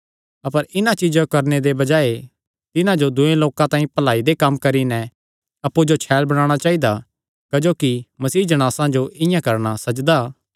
अपर इन्हां चीज्जां जो करणे दे बजाये तिन्हां जो दूये लोकां तांई भलाई दे कम्म करी नैं अप्पु छैल़ बणाणा चाइदा क्जोकि मसीह जणासां जो इआं करणा सजदा